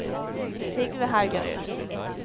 Sigve Haugerud